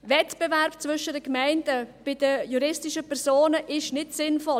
Wettbewerb zwischen den Gemeinden bei den juristischen Personen ist nicht sinnvoll.